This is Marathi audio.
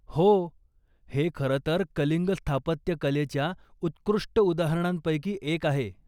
हो, हे खरं तर कलिंग स्थापत्यकलेच्या उत्कृष्ट उदाहरणांपैकी एक आहे.